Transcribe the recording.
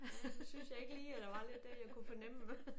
Ja nu syntes jeg ikke lige at der var lidt der jeg kunne fornemme